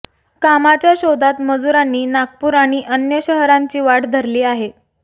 कामाच्या शोधात मजुरांनी नागपूर आणि अन्य शहरांची वाट धरली आहे